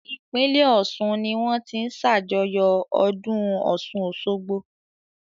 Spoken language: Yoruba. Ìpínlẹ̀ Ọ̀ṣun ní wọ́n ti ń ṣàjọyọ̀ ọdún Ọ̀ṣun Òṣogbo.